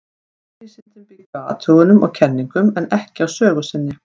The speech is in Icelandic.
Raunvísindin byggja á athugunum og kenningum, en ekki á sögu sinni.